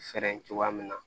Fɛɛrɛ cogoya min na